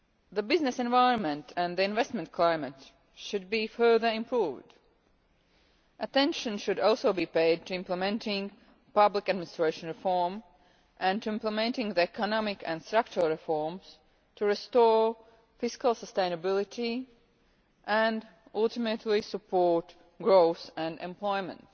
The business environment and the investment climate should be further improved. Attention should also be paid to implementing public administration reform and to implementing the economic and structural reforms required to restore fiscal sustainability, and ultimately to support growth and employment.